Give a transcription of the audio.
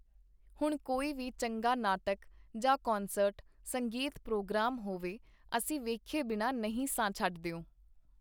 ਹੁਣ ਕੋਈ ਵੀ ਚੰਗਾ ਨਾਟਕ ਜਾਂ ਕਨਸਰਟ (ਸੰਗੀਤਪਰੋਗ੍ਰਾਮ ) ਹੋਵੇ, ਅਸੀਂ ਵੇਖੇ ਬਿਨਾਂ ਨਹੀਂ ਸਾਂ ਛੱਡਦਿਓ.